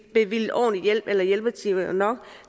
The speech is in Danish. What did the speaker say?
bevilget ordentlig hjælp eller hjælpetimer nok